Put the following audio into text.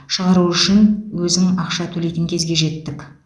шығару үшін өзің ақша төлейтін кезге жеттік